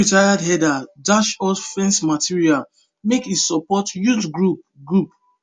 one retired herder dash us fence material make e support youth group group